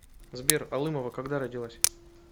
сбер алымова когда родилась